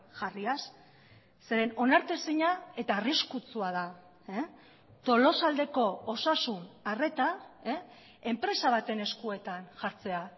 jarriaz zeren onartezina eta arriskutsua da tolosaldeko osasun arreta enpresa baten eskuetan jartzea